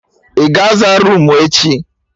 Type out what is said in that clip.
Ị ga aza roomu echi?